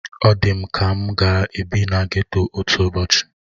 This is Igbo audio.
Ọ dị m ka m ga-ebi na geto otu ụbọchị